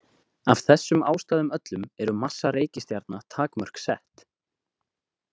Af þessum ástæðum öllum eru massa reikistjarna takmörk sett.